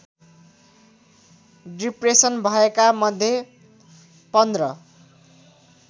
depression भएका मध्ये १५